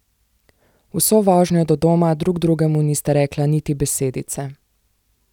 Vso vožnjo do doma drug drugemu nista rekla niti besedice.